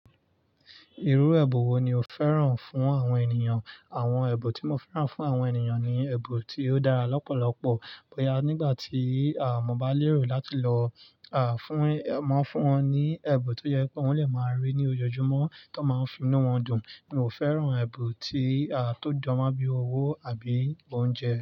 Irú ẹbùn wo ni o fẹ́ràn fún àwọn ènìyàn? Àwọn ẹbùn tí mo fẹ́ràn fún àwọn ènìyàn ni ẹbùn tí ó dára lọ́pọ̀lọpọ̀. Bóyá nígbà tí à mo ba lérò láti lọ, à, fún, máa fún wọn ní ẹ̀bùn tó yẹ kó wọn lè máa rí ní ojoojúmọ́ tó máa ń fi inú wọn dùn. N ò fẹ́ràn ẹbùn tí, à, tó jọmo bí owó àbí oúnjẹ.